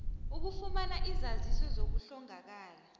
ukufumana izaziso zokuhlongakala